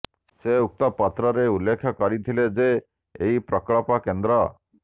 ସେ ଉକ୍ତ ପତ୍ରରେ ଉଲ୍ଲେଖ କରିଥିଲେ ଯେ ଏହି ପ୍ରକଳ୍ପ କେନ୍ଦ୍ର